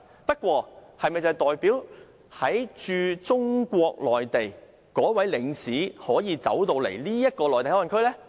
不過，這是否代表駐中國內地的領事便可以進入香港的內地口岸區？